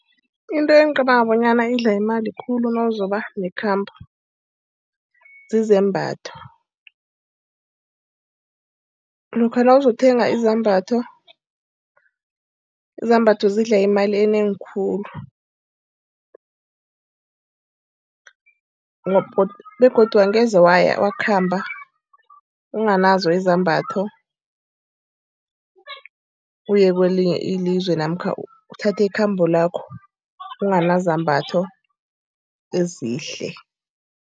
Into engicabanga bonyana idla imali khulu nawuzobe nekhambo, zizembatho. Lokha nawuzokuthenga izambatho. Izambatho zidla imali enengi khulu. Begodu angeze waya, wakhamba unganazo izambatho, uye kwelinye ilizwe namkha uthathe ikhambo lakho unganazambatho ezihle.